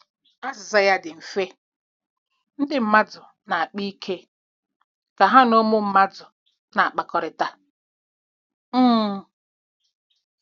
Azịza ya dị mfe: Ndị mmadụ na-akpa ike ka ha na ụmụ mmadụ na- akpakọrịta um.